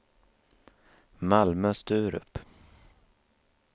Malmö-Sturup